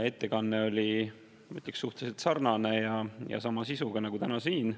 Ettekanne oli, ma ütleks, suhteliselt sarnane ja sama sisuga nagu täna siin.